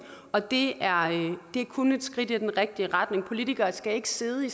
og det er kun et skridt i den rigtige retning politikere skal ikke sidde i